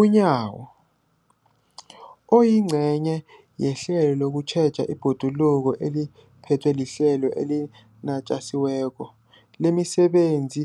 UNyawo, oyingcenye yehlelo lokutjheja ibhoduluko eliphethwe liHlelo eliNatjisi weko lemiSebenzi